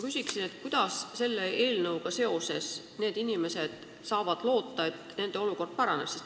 Kuidas inimesed saavad selle eelnõuga seoses loota, et nende olukord paraneb?